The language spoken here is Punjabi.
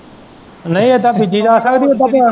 ਨਹੀਂ ਇਹਦਾ ਬੀਜੀ ਆਖਣ ਦਿਆਂ ਪੀ ਇੱਦਾ ਪਿਆ।